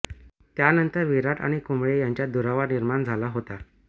त्यानंतर विराट आणि कुंबळे यांच्यात दुरावा निर्माण झाला होता